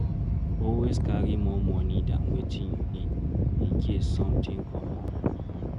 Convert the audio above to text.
Always carry more money than wetin you need in case something come up